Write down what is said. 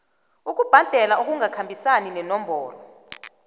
ukubhadela okungakhambisani nenomboro